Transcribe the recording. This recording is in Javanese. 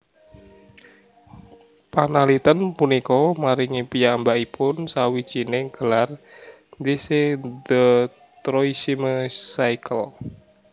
Panalitèn punika maringi piyambakipun sawijining gelar thèse de troisième cycle